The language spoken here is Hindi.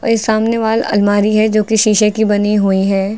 और ये सामने वॉल अलमारी है जो कि शीशे की बनी हुई है।